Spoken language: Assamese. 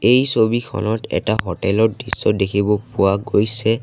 এই ছবিখনত এটা হোটেল ৰ দৃশ্য দেখিব পোৱা গৈছে।